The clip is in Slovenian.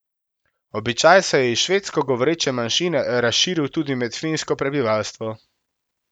Običaj se je iz švedsko govoreče manjšine razširil tudi med finsko prebivalstvo.